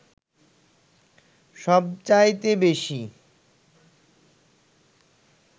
সবচাইতে বেশী